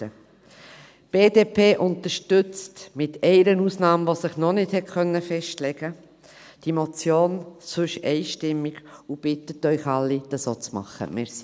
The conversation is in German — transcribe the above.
Die BDP unterstützt, mit einer Ausnahme, die sich noch nicht festlegen konnte, diese Motion ansonsten einstimmig und bittet Sie, das auch zu tun.